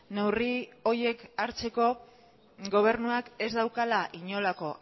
neurri horiek hartzeko gobernuak ez daukala inolako